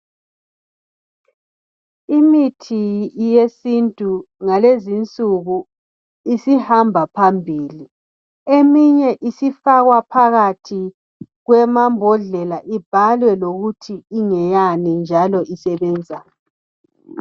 Imithi yesintu ngalezinsuku isihamba phambili ,eminye isifakwa phakathi kwamabhodlela. Ibhalwe lokuthi ngeyani njalo isebenzani.